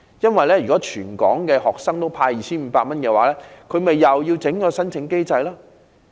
如要向全港學生派發 2,500 元，他們豈非又要另設申請機制？